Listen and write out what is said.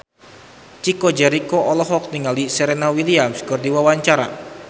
Chico Jericho olohok ningali Serena Williams keur diwawancara